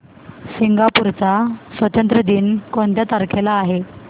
Singapore चा स्वातंत्र्य दिन कोणत्या तारखेला आहे